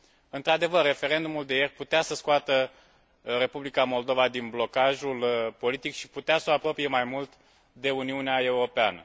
Într adevăr, referendumul de ieri putea să scoată Republica Moldova din blocajul politic și putea să o apropie mai mult de Uniunea Europeană.